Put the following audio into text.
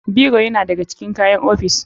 Biro yana da ga cikin kayan ofis.